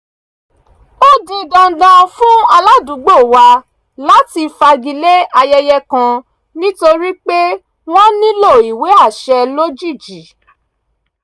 ó di dandan fún aládùúgbò wa láti fagilé ayẹyẹ kan nítorí pé wọ́n nílò ìwé àṣẹ lójijì